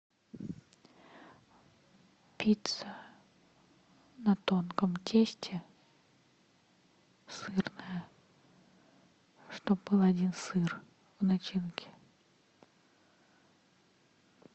пицца на тонком тесте сырная чтоб был один сыр в начинке